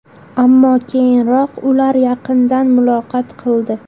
Ammo keyinroq ular yaqindan muloqot qildi.